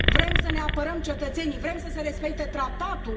Vrem să ne apărăm cetățenii, vrem să se respecte Tratatul.